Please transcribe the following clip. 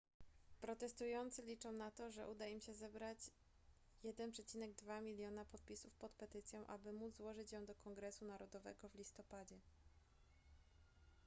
protestujący liczą na to że uda im się zebrać 1,2 miliona podpisów pod petycją aby móc złożyć ją do kongresu narodowego w listopadzie